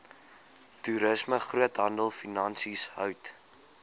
toerisme groothandelfinansies hout